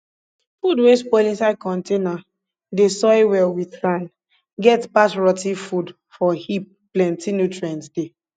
food wey spoil inside container dey soil well with sand get pass rot ten food for heap plenty nutrients dey